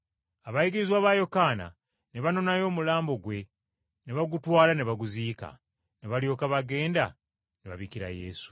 Abayigirizwa ba Yokaana ne banonayo omulambo gwe ne bagutwala ne baguziika, ne balyoka bagenda ne babikira Yesu.